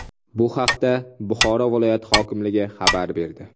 Bu haqda Buxoro viloyati hokimligi xabar berdi .